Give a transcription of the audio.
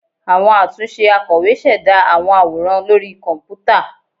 Awọn atunṣe akọwé ṣẹda awọn aworan lori kọnputa